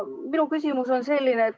Minu küsimus on selline.